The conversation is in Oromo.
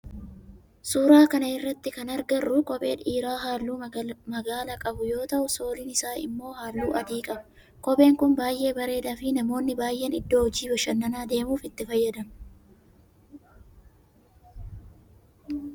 Suuraa kana irratti kan agarru kophee dhiiraa halluu magaala qabu yoo ta'u sooliin isaa immoo halluu adii qaba. Kopheen kun baayyee bareedaa fi namoonni baayyeen iddoo hoji, bashannanaa deemuf itti fayyadamu.